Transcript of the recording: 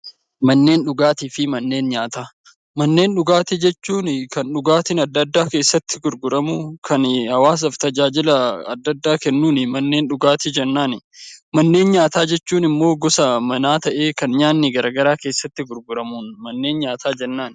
Manneen dhugaatii fi manneen nyaataa Manneen dhugaatii jechuun kan dhugaatiin addaa addaa keessatti gurguramu kan hawaasaaf tajaajila addaa addaa kennuun mannee dhugaatii jennaan. Manneen nyaataa jechuun immoo gosa nyaataa ta'ee kan nyaanni garaagaraa keessatti gurguramuun manneen nyaataa jennaan .